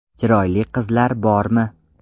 Chiroyli qizlar bormi?